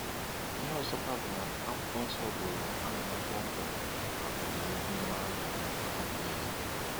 Ihe ọzọkwa bụ na Akwụkwọ nsọ buru amụma kpọmkwem maka ọdịnihu mara mma maka mmadu niile.